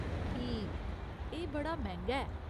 ठीक । एह् बड़ा मैंह्गा ऐ।